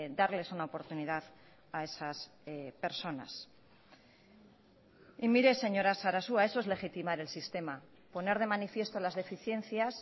darles una oportunidad a esas personas y mire señora sarasua eso es legitimar el sistema poner de manifiesto las deficiencias